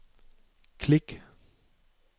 klik